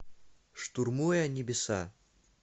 штурмуя небеса